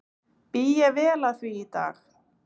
Bý ég vel að því í dag.